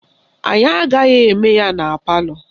Anyị agaghị eme ya na palọ